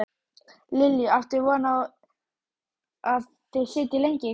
Lillý: Áttu von á að þið sitjið lengi í kvöld?